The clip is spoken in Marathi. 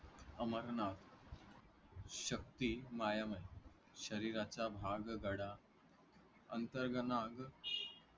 अमरनाथ शक्ति मायमय शरीराचा भाग गडा अंतर्गनाग